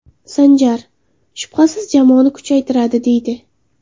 Sanjar, shubhasiz, jamoani kuchaytiradi”, deydi.